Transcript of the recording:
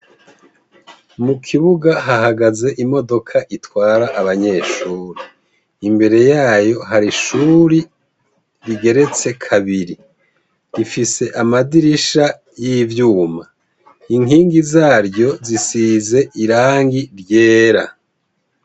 Mu kibuga hahagaze imodoka itwara abanyeshuri. Imbere yayo hari ishuri rigeretse kabiri. Rifise amadirisha y'ivyuma. Inkingi zaryo zisize irangi ryera.